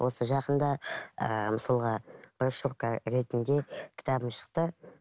осы жақында ыыы мысалға ретінде кітабым шықты